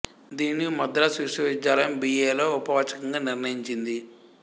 దీనిని మద్రాసు విశ్వవిద్యాలయం B A లో ఉపవాచకంగా నిర్ణయించింది